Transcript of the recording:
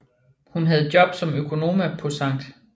Hun havde job som økonoma på Sct